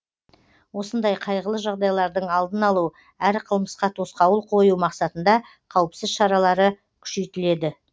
осындай қайғылы жағдайлардың алдын алу әрі қылмысқа тосқауыл қою мақсатында қауіпсіз шаралары күшейтіледі